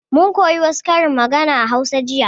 Mun koya wa su karin magana a hausa jiya